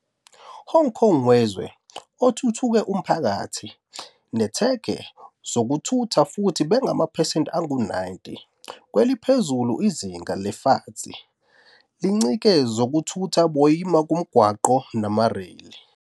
Hong Kong wezwe othuthuke umphakathi netweke zokuthutha futhi bangamaphesenti angu-90, kweliphezulu Izinga le lefatšeng, lincike zokuthutha boima ngomgwaqo noma rail.